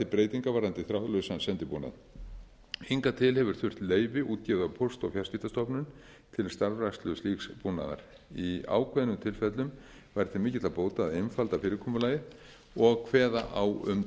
breytingar varðandi þráðlausan sendibúnað hingað til hefur þurft leyfi útgefið af póst og fjarskiptastofnun til starfrækslu slíks búnaðar í ákveðnum tilfellum væri til mikilla bóta að einfalda fyrirkomulagið og kveða á um